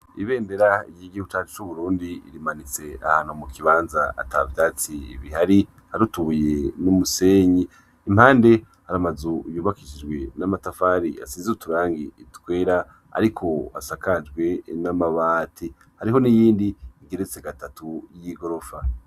Ibendera ry'igihugu cacu c'Ubrurndi rimanitse ahantu mu kibanza atavyatsi bihari hari utubuye n'umusenyi, impande hari amazu yubakishijwe amatafari asizwe uturangi twera ariko asakajwe n'amabati, hariho n'iyindi igeretse gatatu y'igorofa.